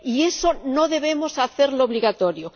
Y eso no debemos hacerlo obligatorio.